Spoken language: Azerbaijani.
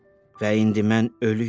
Və indi mən ölüyəm.